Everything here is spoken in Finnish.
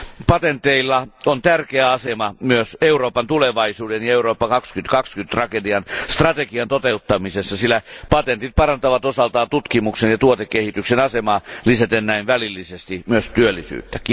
Patenteilla on tärkeä asema myös Euroopan tulevaisuuden kannalta ja Eurooppa 2020 strategian toteuttamisessa, sillä patentit parantavat osaltaan tutkimuksen ja tuotekehityksen asemaa lisäten näin välillisesti myös työllisyyttä.